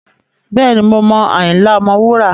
Bẹ́ẹ̀ni, mo mọ Ayinla Omowura.